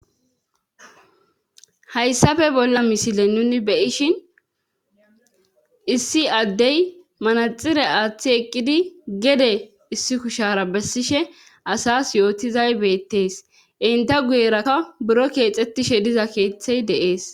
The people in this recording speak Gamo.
Hayssafe bolla misile nuni beyishin issi addey manaxire aaththi eqqidi gede issi kushara bessishe asas yootizay beettees inte guyeraka buro keexettishe diza keeththey deees.